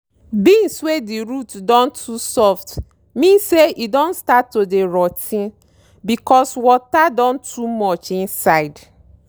beans wey di root don too soft mean say e don start to dey rot ten becos water don too much inside.